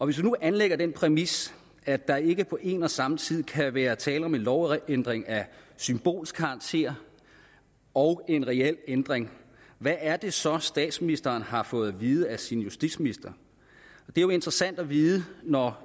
vi nu anlægger den præmis at der ikke på en og samme tid kan være tale om en lovændring af symbolsk karakter og en reel ændring hvad er det så statsministeren har fået at vide af sin justitsminister det er jo interessant at vide når